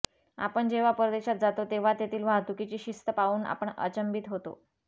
आपण जेव्हा परदेशात जातो तेव्हा तेथील वाहतुकीची शिस्त पाहून आपण अचंबित होतो